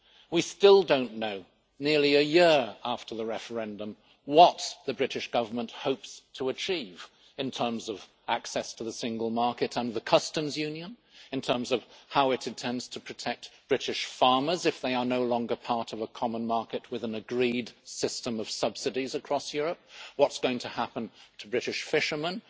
We still do not know, nearly a year after the referendum, what the British Government hopes to achieve in terms of access to the single market and the Customs Union, in terms of how it intends to protect British farmers if they are no longer part of a common market with an agreed system of subsidies across Europe, or what is going to happen to British fishermen.